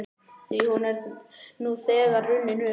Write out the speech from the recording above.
Því hún er nú þegar runnin upp.